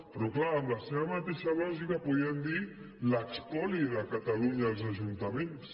però clar amb la seva mateixa lògica podríem dir l’espoli de catalunya als ajuntaments